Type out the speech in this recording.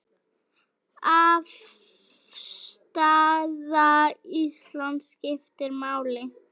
Afstaða Íslands skiptir máli.